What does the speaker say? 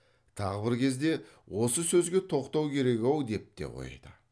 тағы бір кезде осы сөзге тоқтау керек ау деп те қойды